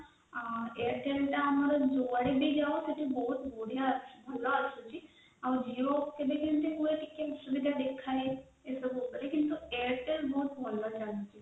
airtel ଟା ଆମର ଶେଠୀ ବହୁତ ବଢିଆ ଭଲ ଆସୁଛି ଆଉ sir Jio କେବେ କେମିତି ଟିକେ ଅସୁବିଧା ଦେଖାଦଉଛି network ଉପରେ କିନ୍ତୁ airtel ବହୁତ ଭଲ ଚାଲିଛି